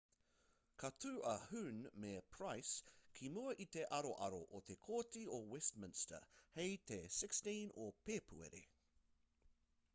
ka tū a huhne me pryce ki mua i te aroaro o te kōti o westminster hei te 16 o pēpuere